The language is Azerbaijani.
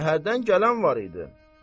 Şəhərdən gələn var idi.